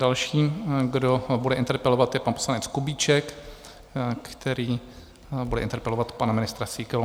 Další, kdo bude interpelovat, je pan poslanec Kubíček, který bude interpelovat pana ministra Síkelu.